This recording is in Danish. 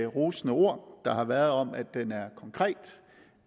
rosende ord der har været om at den er konkret og